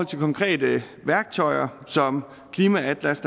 til konkrete værktøjer som klimaatlas